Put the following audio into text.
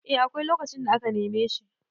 eh akwai lokacin da aka neme shi